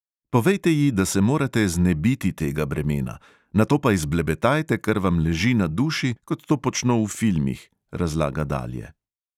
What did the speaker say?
"Povejte ji, da se morate znebiti tega bremena, nato pa izblebetajte, kar vam leži na duši, kot to počno v filmih," razlaga dalje.